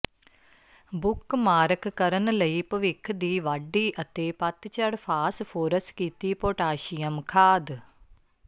bookmark ਕਰਨ ਲਈ ਭਵਿੱਖ ਦੀ ਵਾਢੀ ਅਤੇ ਪਤਝੜ ਫਾਸਫੋਰਸ ਕੀਤੀ ਪੋਟਾਸ਼ੀਅਮ ਖਾਦ